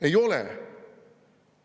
Ei ole.